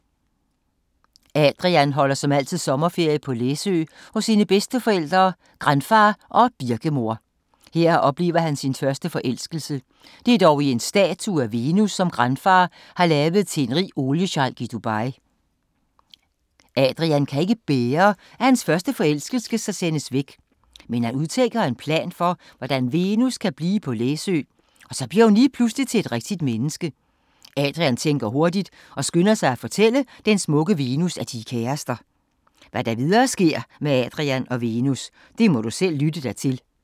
Adrian holder som altid sommerferie på Læsø hos sine bedsteforældre Granfar og Birkemor. Her oplever han sin første forelskelse. Det er dog i en statue af Venus, som Granfar har lavet til en rig oliesheik i Dubai. Adrian kan ikke bære, at hans første forelskelse skal sendes væk. Mens han udtænker en plan for, hvordan Venus kan blive på Læsø, bliver hun lige pludselig til et rigtigt menneske. Adrian tænker hurtigt og skynder sig at fortælle den smukke Venus, at de er kærester. Hvad der videre sker med Adrian og Venus, må du selv lytte dig til.